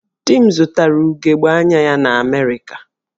Di m zụtara ugogbe anya ya na Amerịka